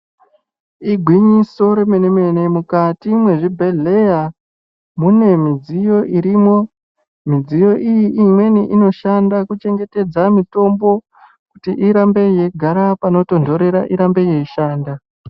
Igwinyiso remene mene mukati mwezvibhendleya mune midziyo irimo. Midziyo iyi imweni inoshanda kuchengetedza mitombo kuti irambe yeigara panotonhorera kuti irambe yeishanda.